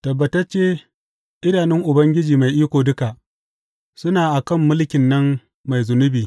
Tabbatacce idanun Ubangiji Mai Iko Duka suna a kan mulkin nan mai zunubi.